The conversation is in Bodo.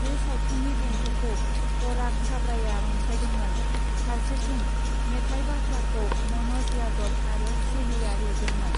बे सावथुननि देंखोखौ पराग छाबड़ाया रनसायदोंमोन, फारसेथिं मेथाइ बाथ्राखौ म'न'ज यादव आरो शेलीया लिरदोंमोन।